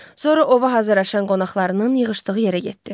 Sonra ova hazırlaşan qonaqlarının yığışdığı yerə getdi.